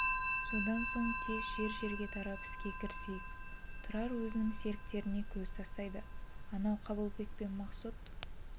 содан соң тез жер-жерге тарап іске кірісейік тұрар өзінің серіктеріне көз тастайды анау қабылбек пен мақсұт